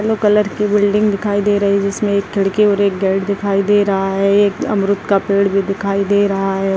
Blue colour कि building दिखाई दे रही है जिसमे एक खिड़की और एक गेट दिखाई दे रहा है अमरुत का भी पेड़ दिखाई दे रहा है।